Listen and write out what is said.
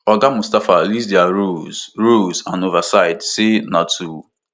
oga mustapha list dia roles roles and oversight say na to